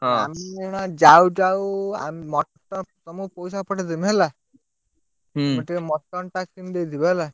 ଆମେ ଏଇ ନା ଯାଉ ଯାଉ ଆ mutton ତମକୁ ପଇସା ପଠେଇ ଦେବି, ହେଲା। ତମେ ଟିକେ mutton ଟା କିଣି ଦେଇ ଥିବ ହେଲା।